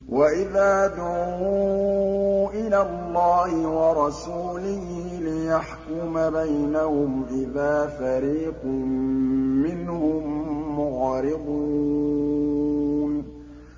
وَإِذَا دُعُوا إِلَى اللَّهِ وَرَسُولِهِ لِيَحْكُمَ بَيْنَهُمْ إِذَا فَرِيقٌ مِّنْهُم مُّعْرِضُونَ